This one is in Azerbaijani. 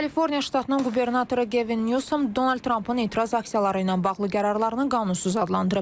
Kaliforniya ştatının qubernatoru Kevin Newsom Donald Trampın etiraz aksiyaları ilə bağlı qərarlarını qanunsuz adlandırıb.